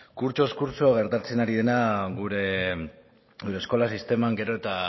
kurtsoz kurtso gertatzen ari dena gure eskola sistema gero eta